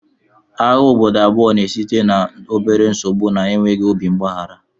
Agha obodo abụọ na-esite n'obere nsogbu nakwa enweghị obi mgbaghara